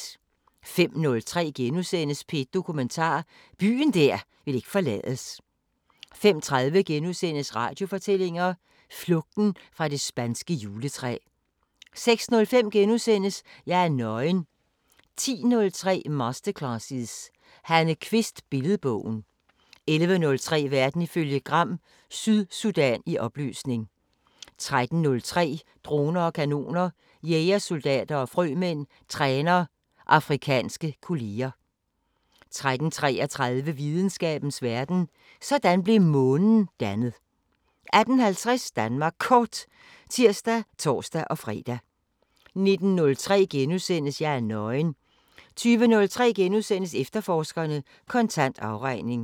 05:03: P1 Dokumentar: Byen der ikke ville forlades * 05:30: Radiofortællinger: Flugten fra det spanske juletræ * 06:05: Jeg er nøgen * 10:03: Masterclasses – Hanne Kvist: Billedbogen 11:03: Verden ifølge Gram: Sydsudan i opløsning 13:03: Droner og kanoner: Jægersoldater og frømænd træner afrikanske kolleger 13:33: Videnskabens Verden: Sådan blev Månen dannet 18:50: Danmark Kort (tir og tor-fre) 19:03: Jeg er nøgen * 20:03: Efterforskerne: Kontant afregning *